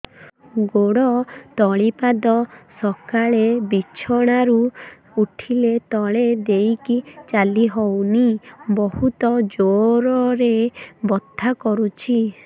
ଗୋଡ ତଳି ପାଦ ସକାଳେ ବିଛଣା ରୁ ଉଠିଲେ ତଳେ ଦେଇକି ଚାଲିହଉନି ବହୁତ ଜୋର ରେ ବଥା କରୁଛି